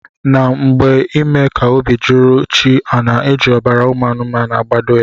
Na mgbe ime ka obi juru chi ana eji ọbara ụmụ anumanu igbado ya.